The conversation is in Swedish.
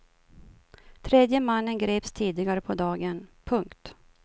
Tredje mannen greps tidigare på dagen. punkt